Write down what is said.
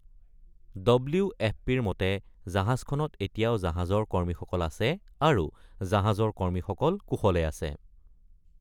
W F পিৰ মতে জাহাজখনত এতিয়াও জাহাজৰ কৰ্মীসকল আছে আৰু জাহাজৰ কৰ্মীসকল কুশলে আছে’।